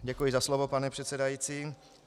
Děkuji za slovo, pane předsedající.